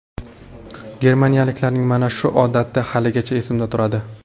Germaniyaliklarning mana shu odati haligacha esimda turadi.